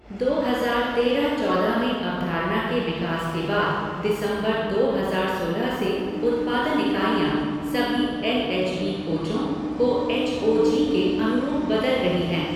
दो हजार तेरह चौदह में अवधारणा के विकास के बाद, दिसंबर, दो हजार सोलह से उत्पादन इकाइयाँ, सभी एल एच बी कोचों को एच ओ जी के अनुरूप बदल रही हैं।